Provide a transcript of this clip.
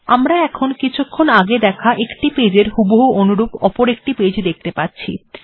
আমরা এখন কিছুক্ষণ আগে দেখা একটি পেজ্ এর হুবহু অনুরূপ অপরএকটি পেজ্ দেখতে পাচ্ছি